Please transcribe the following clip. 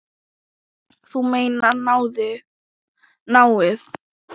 Þú meinar náið?